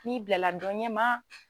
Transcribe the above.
Ni bila la dɔ ɲɛ ma!